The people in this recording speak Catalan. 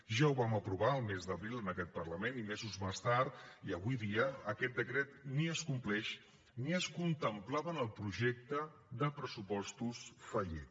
ja ho vam aprovar el mes d’abril en aquest parlament i mesos més tard i avui dia aquest decret ni es compleix ni es contemplava en el projecte de pressupostos fallit